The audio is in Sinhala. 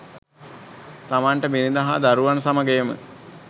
තමන්ට බිරිඳ හා දරුවන් සමග එම